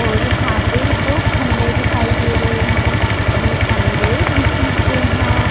और यहाँ पर दो खम्बे दिखाई दे रहे है यह खम्बे बिजली के है।